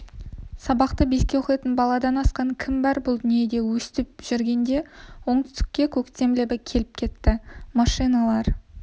сабақты беске оқитын баладан асқан кім бар бұл дүниеде өстіп жүргенде оңтүстікке көктем лебі келіп жетті машиналар